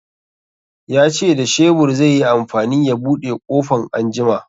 Ya ce da shebur zai yi amfani ya buɗe ƙofan anjima